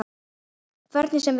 Hvernig sem viðrar.